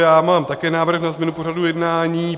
Já mám také návrh na změnu pořadu jednání.